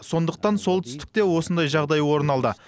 сондықтан солтүстікте осындай жағдай орын алды